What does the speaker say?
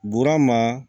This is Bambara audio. Burama